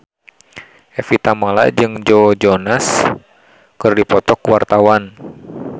Evie Tamala jeung Joe Jonas keur dipoto ku wartawan